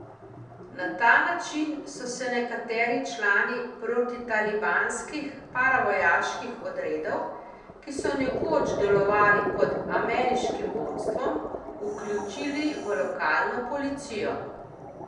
Na ta način so se nekateri člani protitalibskih paravojaških odredov, ki so nekoč delovali pod ameriškim vodstvom, vključili v lokalno policijo.